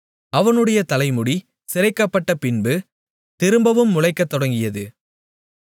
அவனுடைய தலைமுடி சிரைக்கப்பட்டப்பின்பு திரும்பவும் முளைக்கத் தொடங்கியது